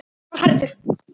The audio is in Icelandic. Hann er hærður.